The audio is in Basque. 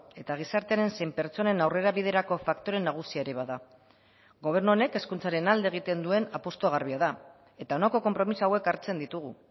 eta gizartearen zein pertsonen aurrerabiderako faktore nagusia ere bada gobernu honek hezkuntzaren alde egiten duen apustua garbia da eta honako konpromiso hauek hartzen ditugu